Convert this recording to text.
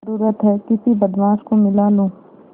जरुरत हैं किसी बदमाश को मिला लूँ